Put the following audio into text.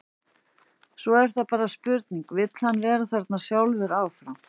Svo er það bara spurningin, vill hann vera þarna sjálfur áfram?